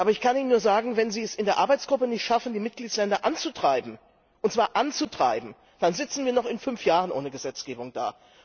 Aber ich kann Ihnen nur sagen Wenn Sie es in der Arbeitsgruppe nicht schaffen, die Mitgliedstaaten anzutreiben, dann sitzen wir noch in fünf Jahren ohne Gesetzgebung da.